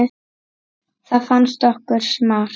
Það fannst okkur smart.